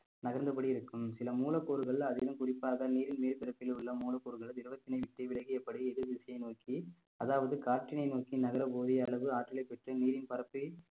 நகர்ந்தபடி இருக்கும் சில மூலக்கூறுகள் அதிலும் குறிப்பாக நீரின் மேற்பரப்பில் உள்ள மூலப்கூறுகளும் திரவத்தினை விட்டு விலகியபடி எதிர் திசையை நோக்கி அதாவது காற்றினை நோக்கி நகரக்கூடிய அளவு ஆற்றலைப் பெற்று நீரின் பரப்பை